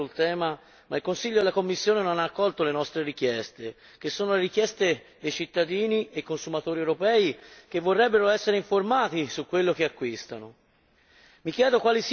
già espresso a stragrande maggioranza sul tema, ma il Consiglio e la Commissione non hanno accolto le nostre richieste, che sono quelle dei cittadini e dei consumatori europei che vorrebbero essere informati su quello che acquistano.